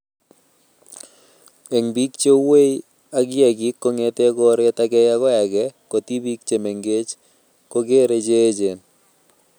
Eng biik cheuei ak kiagik kong'ete koret age agoi age ko tibiik che mengeech kokeree che echen